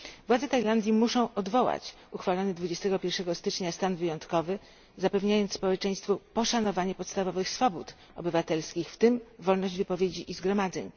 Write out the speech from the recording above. Władze Tajlandii muszą odwołać uchwalony 21 stycznia stan wyjątkowy, zapewniając społeczeństwu poszanowanie podstawowych swobód obywatelskich, w tym wolność wypowiedzi i zgromadzeń!